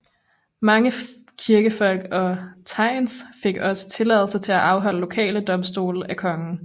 Mange kirkefolk og thegns fik også tilladelse til at afholde lokale domstole af kongen